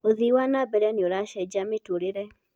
ũthĩĩ wa nambele nĩ ũracejia mĩturĩre